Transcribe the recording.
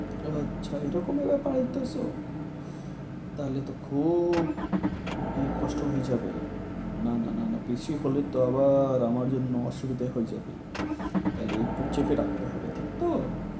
আচ্ছা এটা কোনো ব্যাপার হইতাসে তাহলে তো খুব কস্ট হয়ে যাবে না না না না বেশি হলে তো আবার আমার জন্যে অসুবিধা হয়ে যাবে। তাহলে একটু চেপে রাখতে হবে ঠিক তো